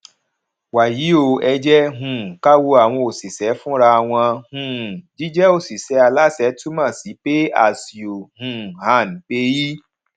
wàyí o ẹ jẹ um ká wo àwọn òṣìṣẹ fúnra wọn um jíjẹ òṣìṣẹ aláṣẹ túmọ sí pay as you um earn paye